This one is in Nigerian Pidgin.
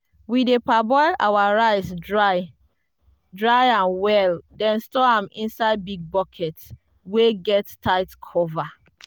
we dey parboil our rice dry dry am well then store am inside big bucket wey get tight cover.